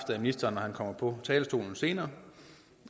af ministeren når han kommer på talerstolen senere